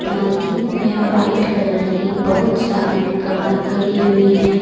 Parking में white colour की बहोत सारी कार खड़ी हुई है।